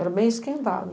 Era bem esquentado.